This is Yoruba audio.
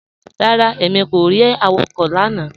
Rárá, èmi kò rí awakọ̀ lánà